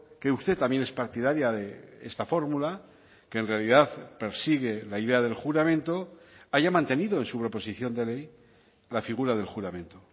que usted también es partidaria de esta fórmula que en realidad persigue la idea del juramento haya mantenido en su proposición de ley la figura del juramento